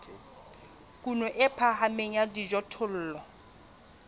kuno e phahameng ya dijothollo